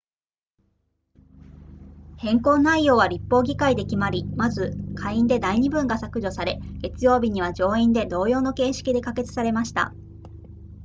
変更内容は立法議会で決まりまず下院で第二文が削除され月曜日には上院で同様の形式で可決されました